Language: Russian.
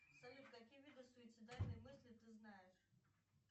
салют какие виды суицидальной мысли ты знаешь